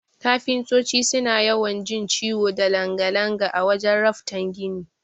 Kafintoti suna yawan jin ciwo da langa-langa a wajan raftan gini.